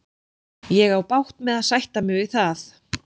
Ég á bágt með að sætta mig við það.